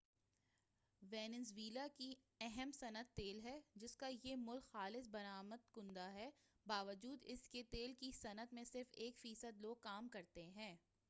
Venezuela کی اہم صنعت تیل ہے جسکا یہ ملک خالص برآمد کنندہ ہے باوجود اسکے تیل کی صنعت میں صرف ایک فیصد لوگ کام کرتے ہیں